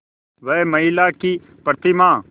वह महिमा की प्रतिमा